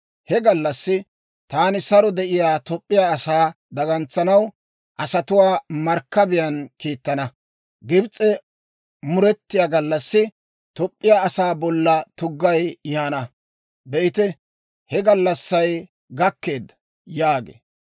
«‹ «He gallassi taani saro de'iyaa Toop'p'iyaa asaa dagantsanaw asatuwaa markkabiyaan kiittana. Gibs'e muretiyaa gallassi Toop'p'iyaa asaa bolla tuggay yaana. Be'ite, he gallassay gakkeedda!» yaagee.